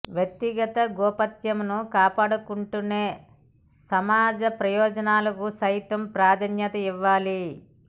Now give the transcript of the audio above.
వ్యక్తిగత గోప్యతను కాపాడుకుంటూనే సమాజ ప్రయోజనాలకు సైతం ప్రాధాన్యత ఇవ్వాలి